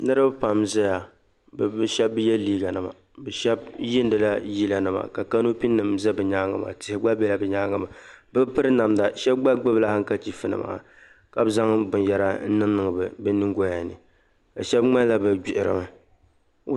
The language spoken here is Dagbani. Niriba pam ʒeya bɛ mi shɛb' ye liiganima bɛ shɛb' yiinila yilanima ka kanopinim' za bɛ nyaang' maa tihi gba bela bɛ nyaanga maa bɛ bi piri namda ka shɛb' gba gbubi hankachiifnima ka bɛ zaŋ binyɛra n-niŋ niŋ bɛ nyimgɔya ni shɛb' ŋmanila bɛ gbihirimi